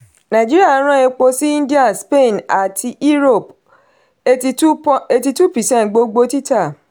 nàìjíríà rán epo sí india spain àti europe; eighty-two percent gbogbo títà.